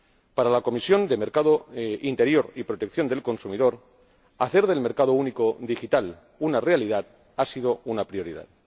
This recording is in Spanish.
Para la Comisión de Mercado Interior y Protección del Consumidor, hacer del mercado único digital una realidad ha sido una prioridad.